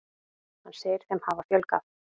Hann segir þeim hafa fjölgað.